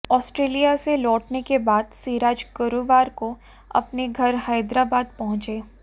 Australia से लौटने के बाद सिराज गुरुवार को अपने घर हैदराबाद पहुंचे